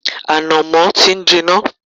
Ànàmọ́ ti ń jiná